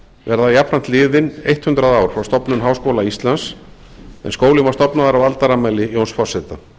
verða jafnframt liðin hundrað ár frá stofnun háskóla íslands en skólinn var stofnaður á aldarafmæli jóns forseta